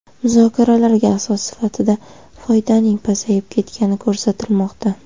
Muzokaralarga asos sifatida foydaning pasayib ketgani ko‘rsatilmoqda.